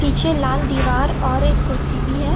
पीछे लाल दीवार और एक कुर्सी भी है।